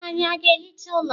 Ànyị ga-ehicha ụlọ?